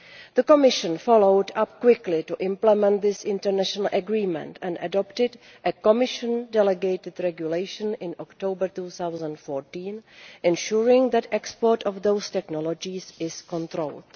The Commission followed up quickly to implement this international agreement and adopted a Commission delegated regulation in October 2014 ensuring that the export of those technologies is controlled.